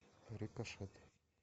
рикошет